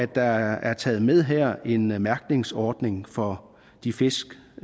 der er taget med her nemlig en mærkningsordning for de fisk